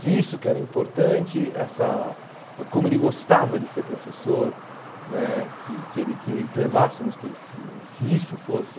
Que isso que era importante, essa como ele gostava de ser professor né, que que ele queria que levássemos que se isso fosse...